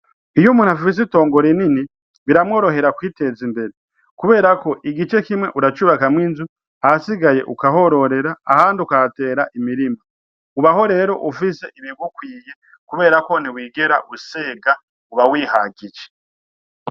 Iyo umuntu afise itongo rinini biramworohera kwiteza imbere kubera ko igice kimwe uracubakamwo inzu ahasigaye ukahororera ahandi ukahatera imirima ,Ubaho rero ufise ibigukwiye kuberako ntiwigera usega uba wihagije.